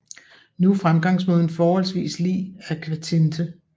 Nu er fremgangsmåden forholdsvis lig akvatinte